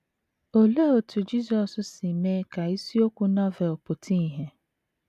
Olee otú Jisọs si mee ka isiokwu Novel pụta ìhè?